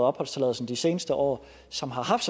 opholdstilladelsen de seneste år som har haft